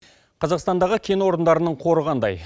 қазақстандағы кен орындарының қоры қандай